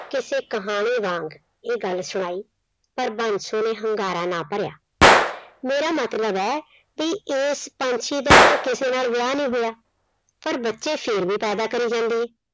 ਕਿਸੇ ਕਹਾਣੀ ਵਾਂਗ ਇਹ ਗੱਲ ਸੁਣਾਈ। ਪਰ ਬੰਸੋ ਨੇ ਹੁੰਗਾਰਾ ਨਾ ਭਰਿਆ। ਮੇਰਾ ਮਤਲਬ ਆ ਵੀ ਏਸ ਪੰਛੀ ਦਾ ਤਾਂ ਕਿਸੇ ਨਾਲ ਵਿਆਹ ਨੀ ਹੋਇਆ, ਪਰ ਬੱਚੇ ਫਿਰ ਵੀ ਪੈਦਾ ਕਰੀ ਜਾਂਦੀ ਏ।